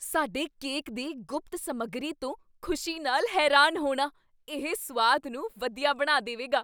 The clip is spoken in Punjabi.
ਸਾਡੇ ਕੇਕ ਦੀ ਗੁਪਤ ਸਮੱਗਰੀ ਤੋਂ ਖੁਸ਼ੀ ਨਾਲ ਹੈਰਾਨ ਹੋਣਾ, ਇਹ ਸੁਆਦ ਨੂੰ ਵਧੀਆ ਬਣਾ ਦੇਵੇਗਾ